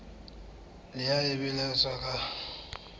le haebe ho boletswe ka